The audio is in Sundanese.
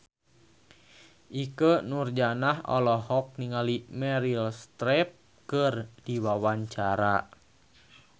Ikke Nurjanah olohok ningali Meryl Streep keur diwawancara